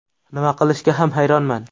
Nima qilishga ham hayronman.